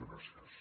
gràcies